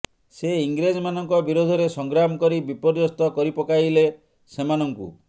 ସେ ଇଂରେଜମାନଙ୍କ ବିରୋଧରେ ସଂଗ୍ରାମ କରି ବିପର୍ଯ୍ୟସ୍ତ କରିପକାଇଲେ ସେମାନଙ୍କୁ